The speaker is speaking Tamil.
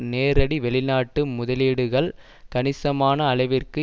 நேரடி வெளிநாட்டு முதலீடுகள் கணிசமான அளவிற்கு